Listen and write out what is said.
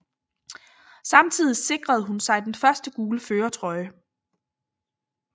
Samtidig sikrede hun sig den første gule førertrøje